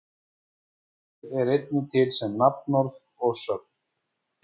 Orðið er einnig til sem nafnorð og sögn.